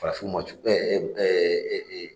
Farafinw ma cu